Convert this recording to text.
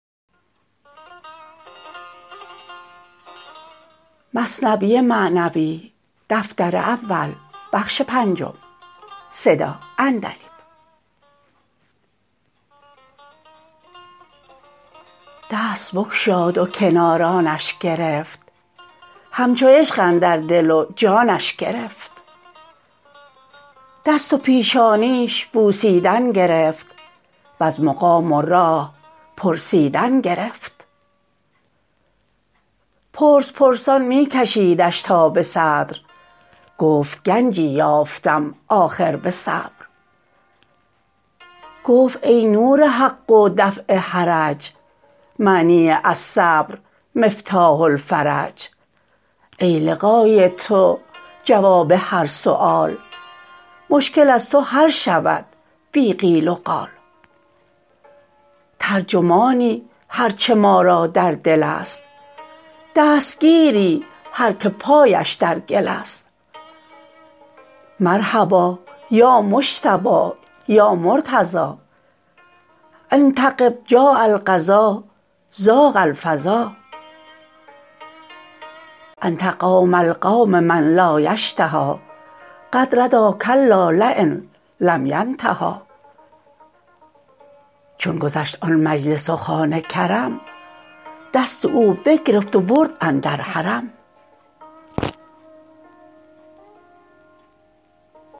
دست بگشاد و کنارانش گرفت همچو عشق اندر دل و جانش گرفت دست و پیشانیش بوسیدن گرفت وز مقام و راه پرسیدن گرفت پرس پرسان می کشیدش تا به صدر گفت گنجی یافتم آخر به صبر گفت ای نور حق و دفع حرج معنی الصبر مفتاح الفرج ای لقای تو جواب هر سؤال مشکل از تو حل شود بی قیل وقال ترجمانی هرچه ما را در دل است دستگیری هر که پایش در گل است مرحبا یا مجتبی یا مرتضی إن تغب جاء القضا ضاق الفضا انت مولی القوم من لا یشتهی قد ردی کلا لین لم ینتهی چون گذشت آن مجلس و خوان کرم دست او بگرفت و برد اندر حرم